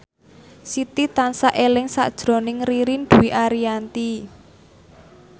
Siti tansah eling sakjroning Ririn Dwi Ariyanti